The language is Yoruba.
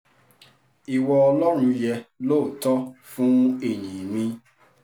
ìwọ ọlọ́run yẹ lóòótọ́ fún ìyìn mi